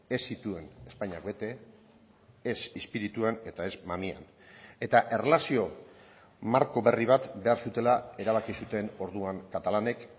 ez zituen espainiak bete ez espirituan eta ez mamian eta erlazio marko berri bat behar zutela erabaki zuten orduan katalanek